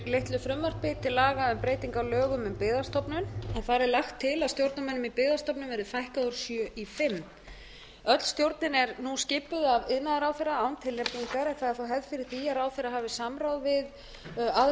litlu frumvarpi til aðra um breytingu á lögum um byggðastofnun þar er lagt til að stjórnarmönnum í byggðastofnun verði fækkað úr sjö i fimm öll stjórnin er nú skipuð af iðnaðarráðherra án tilnefningar en það er þó hefð fyrir því að ráðherra hafi samráð við aðra